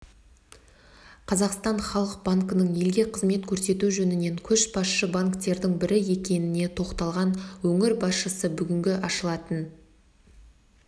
қазақстан халық банкінің елге қызмет көрсету жөнінен көшбасшы банктердің бірі екеніне тоқталған өңір басшысы бүгінгі ашылатын